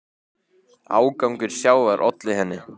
Ágangur sjávar olli henni.